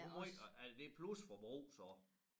Det måj og er det plus forbrug så